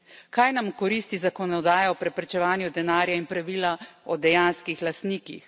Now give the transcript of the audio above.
Kaj nam koristi zakonodaja v preprečevanju denarja in pravila o dejanskih lastnikih.